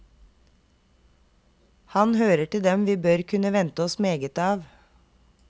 Han hører til dem vi bør kunne vente oss meget av.